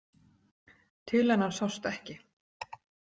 Til hennar sást ekki.